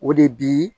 O de bi